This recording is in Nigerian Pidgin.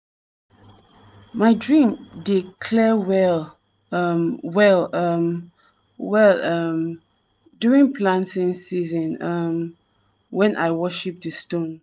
my dream dey clear well um well um well um during planting season um when i worship di stone.